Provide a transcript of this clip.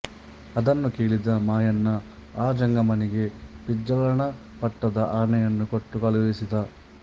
ಅದನ್ನು ಕೇಳಿದ ಮಾಯಣ್ಣ ಆ ಜಂಗಮನಿಗೆ ಬಿಜ್ಜಳನ ಪಟ್ಟದ ಆನೆಯನ್ನು ಕೊಟ್ಟು ಕಳುಹಿಸಿದ